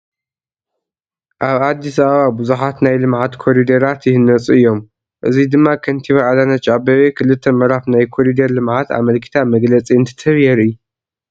ኣብ ኣዲስ ኣበባ ብዙሓት ናይ ልምዓት ኮሪደራት ይህነፁ እዮም፡፡ እዚ ድማ ከንቲባ ኣዳነች ኣቤቤ 2 ምዕራፍ ናይ ኮሪደር ልምዓት ኣመልኪታ መግለፂ እንትትህብ የርኢ፡፡